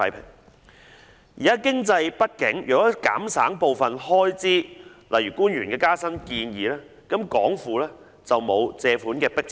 他表示當時經濟不景，如能減省部分開支如官員的加薪建議，港府便沒有借款的迫切性。